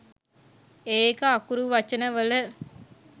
ඒක අකුරු වචන වල